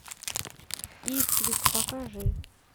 иствик покажи